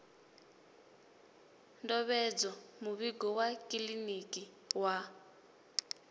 ndovhedzo muvhigo wa kiḽiniki wa